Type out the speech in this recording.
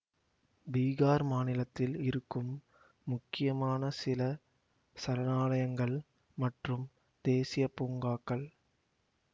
பீகார் மாநிலத்தில் இருக்கும் முக்கியமான சில சரணாலயங்கள் மற்றும் தேசீய பூங்காக்கள்